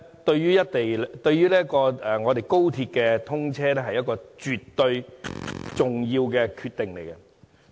對高鐵通車來說，這是一個絕對重要的決定。